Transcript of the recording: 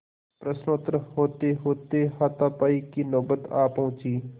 प्रश्नोत्तर होतेहोते हाथापाई की नौबत आ पहुँची